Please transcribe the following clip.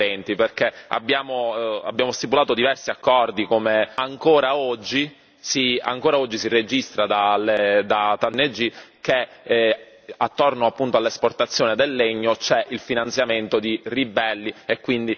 stipulato diversi accordi come Unione europea però, ancora oggi, si registra da tantissime ONG che, attorno appunto all'esportazione del legno, c'è il finanziamento di ribelli e quindi la causa di questi conflitti.